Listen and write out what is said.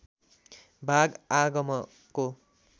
भाग आगमको